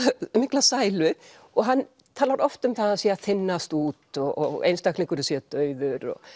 mikla sælu og hann talar oft um það að hann sé að þynnast út og einstaklingurinn sé dauður